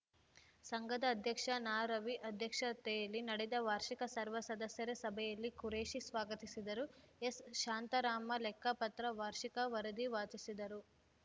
ಸಂಘದ ಅಧ್ಯಕ್ಷ ನಾರವಿ ಅಧ್ಯಕ್ಷತೆಯಲ್ಲಿ ನಡೆದ ವಾರ್ಷಿಕ ಸರ್ವ ಸದಸ್ಯರ ಸಭೆಯಲ್ಲಿ ಖುರೇಶಿ ಸ್ವಾಗತಿಸಿದರು ಎಸ್‌ಶಾಂತಾರಾಮ ಲೆಕ್ಕಪತ್ರ ವಾರ್ಷಿಕ ವರದಿ ವಾಚಿಸಿದರು